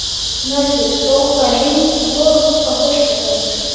Mörður, bókaðu hring í golf á föstudaginn.